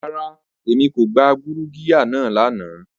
Rara, Emi ko gba gurugiya naa lana.